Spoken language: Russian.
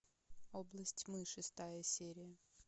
область тьмы шестая серия